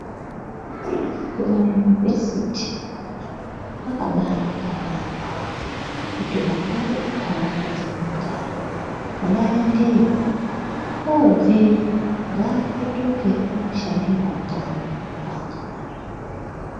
Kumayunivhesiti kwakabaanaka yaamho kuti vana vemuntaraunda dzemunogara vaendeyowo, oobveyo ngaapetuke ooshandirawo kanyi, kwaakabarirwa.